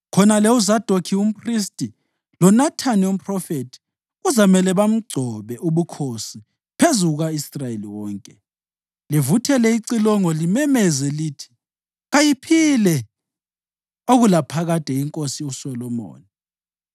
Khonale uZadokhi umphristi loNathani umphrofethi kuzamele bamgcobe ubukhosi phezu kuka-Israyeli wonke. Livuthele icilongo limemeze lithi, ‘Kayiphile okulaphakade iNkosi uSolomoni!’